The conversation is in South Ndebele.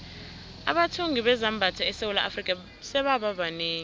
abathungi bezambatho esewula afrika sebaba banengi